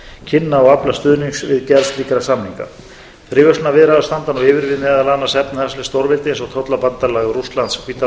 kynna og afla stuðnings við gerð slíkra samninga fríverslunarviðræður standa nú yfir við meðal annars efnahagsleg stórveldi eins og tollabandalag rússlands hvíta